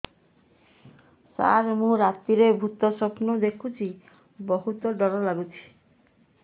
ସାର ମୁ ରାତିରେ ଭୁତ ସ୍ୱପ୍ନ ଦେଖୁଚି ବହୁତ ଡର ଲାଗୁଚି